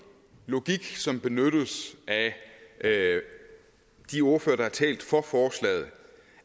logik som benyttes af de ordførere der har talt for forslaget